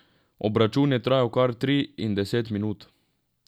Obračun je trajal kar tri in deset minut.